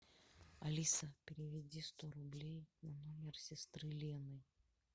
алиса переведи сто рублей на номер сестры лены